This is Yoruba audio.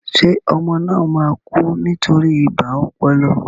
Ṣé ọmọ náà máa kú nítorí ibà ọpọlọ?